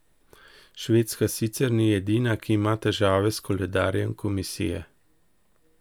Švedska sicer ni edina, ki ima težave s koledarjem komisije.